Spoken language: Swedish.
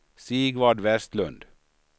Sigvard Vestlund